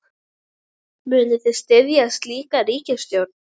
Munið þið styðja slíka ríkisstjórn?